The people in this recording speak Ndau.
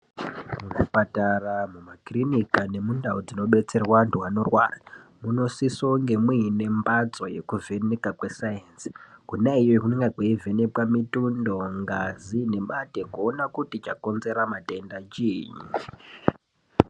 Muzvipatara, mumakirinika nemundau dzinobetserwe antu anorwara munosisa kunge mune mbatso yekuvheneka kwesainzi kona iyoyo kunenge kweivhenekwa mitundo, ngazi nemate kuona kuti chakonzera matenda chiini.